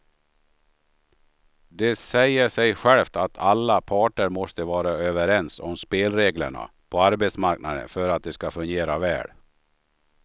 Det säger sig självt att alla parter måste vara överens om spelreglerna på arbetsmarknaden för att de ska fungera väl.